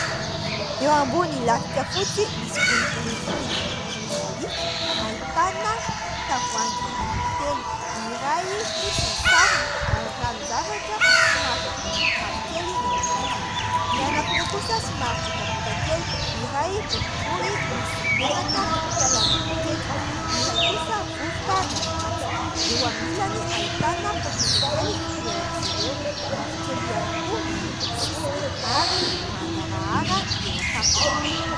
Eo ambony lafika fotsy misy volovolony toy ny volon'alika, ahitana tavoahangy anankitelo : ny iray fotsy ny sarony, ary ranon-javatra somary manopy mavokely no ao anatiny ; ny anankiroa kosa somary botabota kely, ny iray boribory, misy menaka fialana amin'ny ketrona, ny iray kosa vovoka no ao anatiny. Eo amin'ny ilany ahitana poketra kely fitoeran'izy ireo, mavokely ihany koa ny lokon'ny sisiny ary mangarahara ny eo an-tampony.